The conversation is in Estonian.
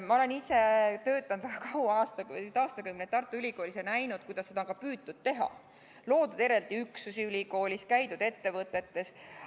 Ma olen ise töötanud kaua, aastaid, isegi aastakümneid Tartu Ülikoolis ja näinud, kuidas seda on püütud teha – loodud eraldi üksusi, käidud ettevõtetes jne.